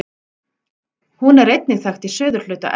Hún er einnig þekkt í suðurhluta Evrópu.